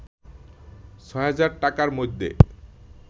৬০০০ টাকার মধ্যে